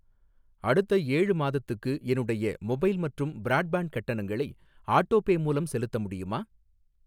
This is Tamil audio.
அடுத்த ஏழு மாதத்துக்கு என்னுடைய மொபைல் மற்றும் பிராட்பேன்ட் கட்டணங்களை ஆட்டோபே மூலம் செலுத்த முடியுமா?